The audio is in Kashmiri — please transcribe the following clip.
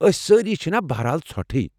أسۍ سٲری چھِنا بہر حال ژھۄٹٕھے ۔